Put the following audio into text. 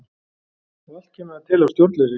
Og allt kemur það til af stjórnleysi.